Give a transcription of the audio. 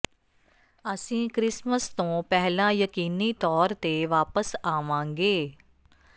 ਅਸੀਂ ਕ੍ਰਿਸਮਸ ਤੋਂ ਪਹਿਲਾਂ ਯਕੀਨੀ ਤੌਰ ਤੇ ਵਾਪਸ ਆਵਾਂਗੇ